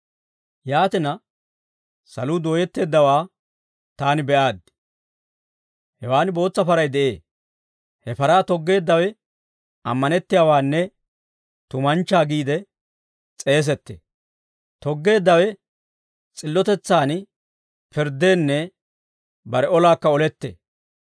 Yaatina, saluu dooyetteeddawaa taani be'aaddi. Hewan bootsa paray de'ee; he paraa toggeeddawe ammanettiyaawaanne tumanchchaa giide s'eesettee. Toggeeddawe s'illotetsaan pirddeenne bare olaakka olettee.